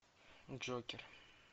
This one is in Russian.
джокер